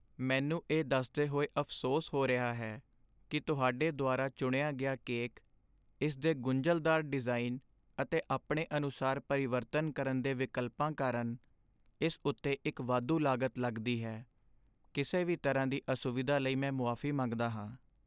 ਮੈਨੂੰ ਇਹ ਦੱਸਦੇ ਹੋਏ ਅਫ਼ਸੋਸ ਹੋ ਰਿਹਾ ਹੈ ਕਿ ਤੁਹਾਡੇ ਦੁਆਰਾ ਚੁਣਿਆ ਗਿਆ ਕੇਕ ਇਸ ਦੇ ਗੁੰਝਲਦਾਰ ਡਿਜ਼ਾਈਨ ਅਤੇ ਆਪਣੇ ਅਨੁਸਾਰ ਪਰਿਵਰਤਨ ਕਰਨ ਦੇ ਵਿਕਲਪਾਂ ਕਾਰਨ ਇਸ ਉੱਤੇ ਇੱਕ ਵਾਧੂ ਲਾਗਤ ਲੱਗਦੀ ਹੈ। ਕਿਸੇ ਵੀ ਤਰ੍ਹਾਂ ਦੀ ਅਸੁਵਿਧਾ ਲਈ ਮੈਂ ਮੁਆਫ਼ੀ ਮੰਗਦਾ ਹਾਂ।